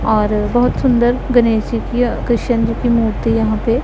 और बहुत सुंदर गणेश जी की कृष्ण जी की मूर्ति यहां पे--